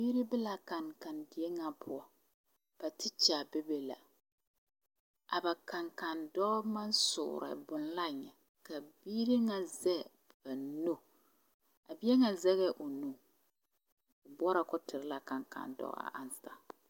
Biiri be la a kankandie ŋa poɔ ba tekyɛ be be la a ba kankandɔɔ maŋ soore boŋ la nyɛ ka biiri ŋa zɛge ba nu a bie ŋa o nu boɔrɔ ka o tere la a kankandɔɔ a aŋsa.